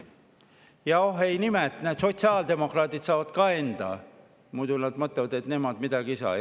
Ja oh imet, sotsiaaldemokraadid saavad ka enda, muidu nad mõtlevad, et nemad ei saa midagi.